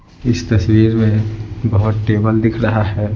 इस तस्वीर में बहुत टेबल दिख रहा है।